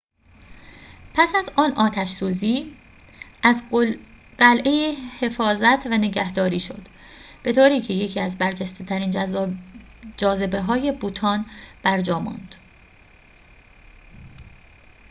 پس از آن آتش‌سوزی از قلعه حفاظت و نگهداری شد به‌طوری که یکی از برجسته‌ترین جاذبه‌های بوتان برجا ماند